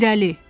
irəli!